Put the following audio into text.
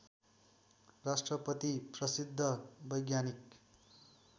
राष्ट्रपति प्रसिद्ध वैज्ञानिक